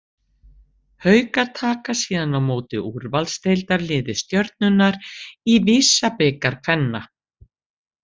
Haukar taka síðan á móti úrvalsdeildarliði Stjörnunnar í VISA-bikar kvenna.